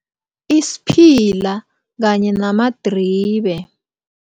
Isiphila kanye namadribe.